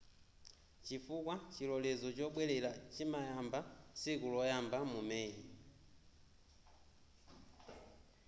chifukwa chilolezo chobwelera chimayamba tsiku loyamba mu meyi